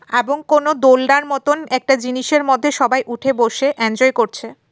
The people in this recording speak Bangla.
এবং কোনো দোলনার মতন একটা জিনিসের মতে সবাই উঠে বসে এনজয় করছে।